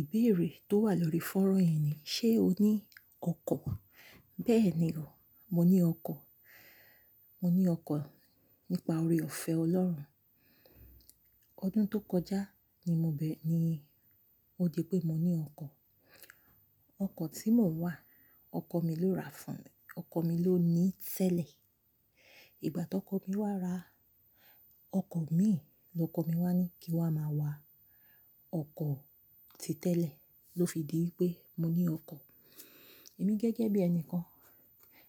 Ìbéèrè tó wà lórí fónrán yìí ni, ṣe o ní ọkọ̀? Bẹ́ẹ̀ni o, mo ní ọkọ̀. Mo ní ọkọ̀ nípa oore-ọ̀fẹ́ Ọlọ́run. Ọdún tó kọjá ni mo bẹ̀ ní, ó di pé mo ní ọkọ̀. Ọkọ̀ tí mò ń wà, ọkọ mi ló ra fún mi, ọkọ mi ló ní tẹ́lẹ̀. Ìgbà tí ọkọ mi wá ra ọkọ̀ mi, lọkọ mi wá ní kí n wá máa wa ọkọ̀ ti tẹ́lẹ̀, ló fi di pé mo ní ọkọ̀. Èmi gẹ́gẹ́ bí ẹni kan,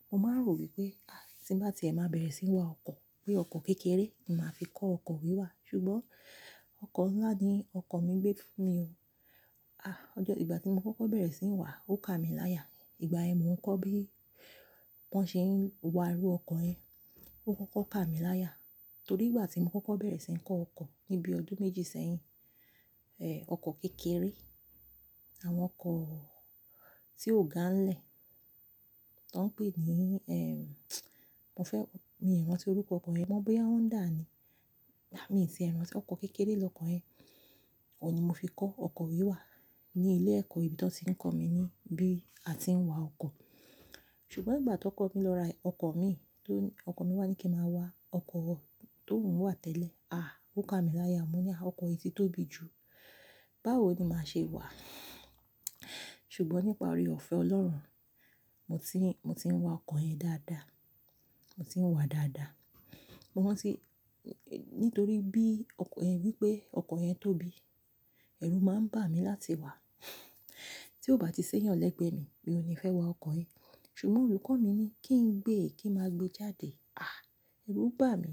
mo máa ń rò wípé, àí, tí bá ti è má bẹ̀rẹ̀ sí ń wá ọkọ̀, pé ọkọ̀ kékeré ni màá fi kọ́ ọkọ̀ wíwà, ṣùgbọ́n ọkọ̀ ńlá ni ọkọ̀ mi gbé fún mi o. Àá, ọjọ́ ìgbà tí mo kuku bẹ̀rẹ̀ sí ń wà ó ká mi láyà. Ìgbà yẹ́n mo ń kọ́ bí wọ́n ṣe ń wa irú ọkọ̀ yẹn, ó kọ́kọ́ ká mi láyà. Torí ìgbà tí mo kọ́kọ́ bẹ̀rẹ̀ sí ń kọ́ ọkọ̀ ní bí ọdún méjì sẹ́yìn, eh, ọkọ̀ kékeré, àwọn ọkọ̀ tí ó ga ń lẹ̀ tó ń pè ní, eh, mo fẹ́, mi ò rántí orúkọ ọkọ̀ yẹn. Mo mọ̀ bóyá Honda ni. Rárá, mi ò ti rántí, ọkọ̀ kékeré lọkọ̀ yẹn, òun ni mo fi kọ́ ọkọ̀ wíwà ní ilé ẹ̀kọ́ ibi tí wọ́n ti ń kọ̀ mí ní bí a ti ń wa ọkọ̀. Ṣùgbọ́n ìgbà tí ọkọ̀ mi lọ ra ẹ ọkọ̀ mii, tó, ọkọ̀ mi wá ní kí n máa wa ọkọ̀ tóùn wà tẹ́lẹ̀. Àá, ó ká mi láyà. Mo ní, à, ọkọ̀ yìí tóbi jù, báwo ni màá ṣe wàá? Ṣùgbọ́n nípa oore-ọ̀fẹ́ Ọlọ́run, mo ti ń, mo ti ń wa ọkọ̀ yẹn dáadáa. Mo ti ń wà á dáadáa. Mo rantí, nítorí bí ọkọ̀ yẹn wípé ọkọ̀ yẹn tóbi, ẹ̀rù máa ń bà mí láti wà á. Tí ó bá ti sẹ́yàn lẹ́gbẹ́ mi, mí òní fẹ́ wa ọkọ̀ yẹn. Ṣùgbọ́n olùkọ́ mi ní kí n gbé, kí n má gbé e jáde. Àá, ẹrú bà mí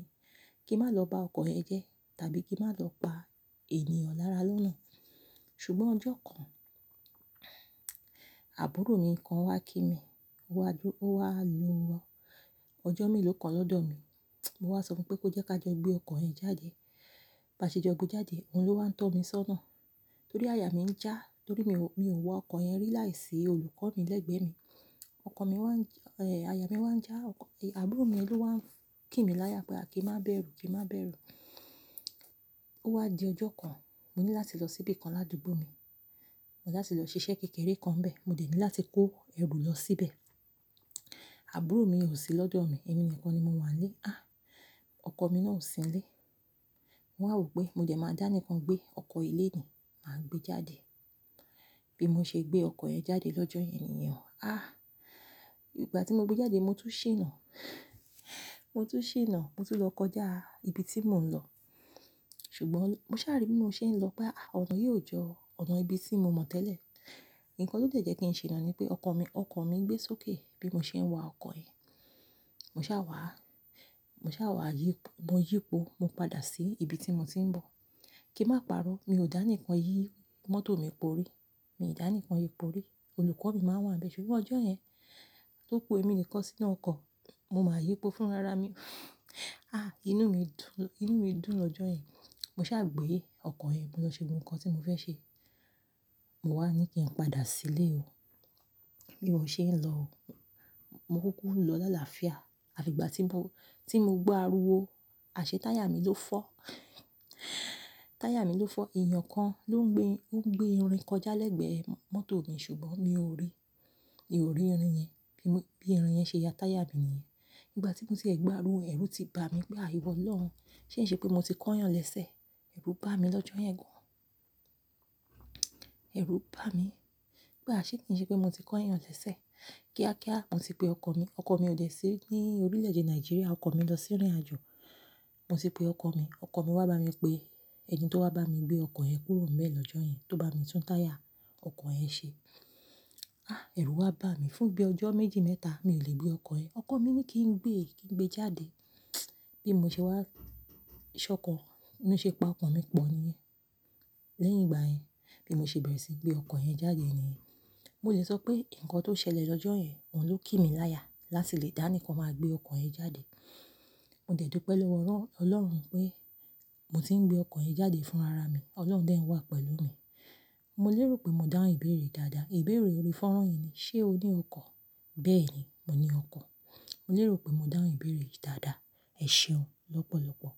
kí n má lọ bá ọkọ̀ yẹn jẹ́ tàbí kí n má lọ pa ènìyàn lára lọ́nà. Ṣùgbọ́n ọjọ́ kan, àbúrò mi kan wá kí mi, ó wá lo, ó wá lo ọjọ́ meló kan lọ́dọ̀ mi. Mo wá sọ fún pé kó jẹ́ ká jọ gbé ọkọ̀ yẹn jáde. Bá ṣe jọ gbé e jáde, òun ló wá ń tọ́ mi sọ́nà. Torí àyà mi ń já, torí mi ò, mi ò wọ ọkọ̀ yẹn rí láìsí olùkọ́ mi lẹ́gbẹ́ mi. Ọkọ̀ mi wá ń já, eh, àyà mi wá ń já ọkọ̀, àbúrò mi ló wá ń kí mi láyà pé à kí n má bẹ̀rù, kí n má bẹ̀rù. Ó wá di ọjọ́ kan, mo ní láti lọ síbí kan ládùúgbò mi. Mo ní láti lọ ṣiṣẹ́ kékeré kan bẹ́ẹ̀. Mo dẹ̀ ní láti kó ẹrù lọ síbẹ̀. Àbúrò mi kò sí lọ́dọ̀ mi, èmi nìkan ni mo wà nílé. Àá, ọkọ̀ mi náà ò sí nílé. Mo wá rò pé mo dẹ̀ máa dá nikan gbé ọkọ̀ yi léni, màá gbé e jáde. Bí mo ṣe gbé ọkọ̀ yẹn jáde lọ́jọ́ yẹn nìyẹn. Àá, ìgbà tí mo gbé e jáde mo tún ṣìná. Mo tún ṣìná, mo tún lọ kọjá ibi tí mò ń lọ. Ṣùgbọ́n mo sáà rí bí mo ṣe ń lọ pé, à, ọ̀nà yìí ò jọ ọ̀nà ibi tí mo mọ̀ tẹ́lẹ̀. Ǹkan tó jẹ ki ń ṣìná ni pé ọkọ̀ mi, ọkọ̀ mi gbé sókè bí mo ṣe ń wa ọkọ̀ yẹn. Mo sá wà á, mo sá wà á yí, mo yípo, mo padà sí ibi tí mo ti ń bọ̀. Kí n má parọ́, mi ò dá ni kan yìí mọ́tò mi porí. Mi ò dá ni kan yìí porí. Olùkọ́ mi máa wà ń bẹ̀e, ṣùgbọ́n ọjọ́ yẹn tó kú èmi nìkan sínú ọkọ̀, mo máa yípo fún rara mi. À, inú mi dùn, inú mi dùn lọ́jọ́ yẹn. Mo ṣàgbé ọkọ̀ yẹn mọ́ lọ ṣe gbogbo nkan tí mo fẹ́ ṣe. Mo wá ní kí n padà sílé o. Bí mo ṣe ń lọ o, mo kúkú lọ lálàáfíà. Àfi ìgbà tí mo, tí mo gbo ariwo, àṣẹ táyà mi ló fọ́. Táyà mi ló fọ́. Èeyàn kan ló ń gbé, ó ń gbé irin kọjá lẹ́gbẹ̀ẹ́ mọ́tò mi ṣùgbọ́n mi ò rí. Mi ò rí irin yẹn bí, bí irin yẹn ṣe ya táyà mi nìyẹn. Nígbà tí mo ti ẹ̀ gbo ariwo ẹrú ti bà mí pé à ìwọ̀ olọ́run, ṣé ì ṣe pé mo ti kan ìyàn lẹ́sẹ̀? Ẹ̀rù bà mí lọ́jọ́ yẹn gan. Ẹ̀rù bà mí pé àṣẹ́ kì í ṣe pé mo ti kan yàn lẹ́sẹ̀. Kíákíá mo ti pe ọkọ̀ mi. Ọkọ̀ mi ò dé sí ní orílẹ̀ èdè Nàìjíríà, ọkọ̀ mi lọ sí rín àjò. Mo ti pe ọkọ̀ mi, ọkọ̀ mi wá bá mi pé ẹni tó wá bá mi gbé ọkọ̀ yẹn kúrò ńbẹ̀ lọ́jọ́ yẹn tó bá mi tún táyà ọkọ̀ yẹn ṣe. Àá, ẹ̀rù wá bà mí fún bí ọjọ́ méjì mẹ́ta mi ò lè gbé ọkọ̀ yẹn. Ọkọ̀ mi ní kí n gbé, kí n gbé e jáde. Bí mo ṣe wá ṣọkọ, bi mó ṣe pa ọkan mi pọ̀ ní. Lẹ́yìn ìgbà yẹn, bí mo ṣe bẹ̀rẹ̀ sí gbé ọkọ̀ yẹn jáde ni, mo lè sọ pé ǹkan tó ṣẹlẹ̀ lọ́jọ́ yẹn, òun ló kí mi láyà láti lè dá ni kan máa gbé ọkọ̀ yẹn jáde. Mo dẹ̀ dù pẹ́ lọ́wọ́ Ọlọ́run pé mo ti ń gbé ọkọ̀ yẹn jáde fún ara mi, Ọlọ́run dẹ̀ ń wà pẹ̀lú mi. Mo lérò pé mó dáhùn ìbéèrè dáadáa. Ìbéèrè ori fónrán yìí ni, ṣe o ní ọkọ̀? Bẹ́ẹ̀ni, mo ní ọkọ̀. Mo lérò pé mó dáhùn ìbéèrè yìí dáadáa. Ẹ̀ṣeun lọ́pọ̀lọ́pọ̀.